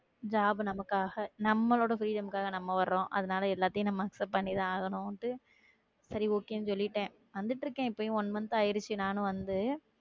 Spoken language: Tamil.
Job நமக்காக நம்மளோட துயரம்காக நம்ம வர்றோம் அதனால எல்லாத்தையும் நம்ம accept பண்ணிதான் ஆகணும்ன்ட்டு சரி okay ன்னு சொல்லிட்டேன் வந்துட்டிருக்கேன் இப்பயும் one month ஆயிருச்சு நானும் வந்து